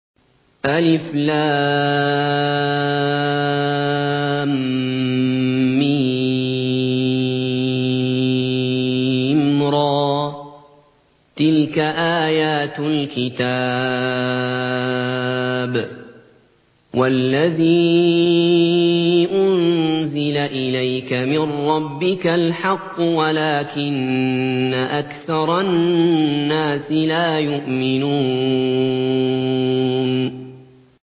المر ۚ تِلْكَ آيَاتُ الْكِتَابِ ۗ وَالَّذِي أُنزِلَ إِلَيْكَ مِن رَّبِّكَ الْحَقُّ وَلَٰكِنَّ أَكْثَرَ النَّاسِ لَا يُؤْمِنُونَ